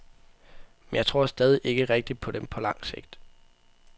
Men jeg tror stadig ikke rigtig på dem på lang sigt.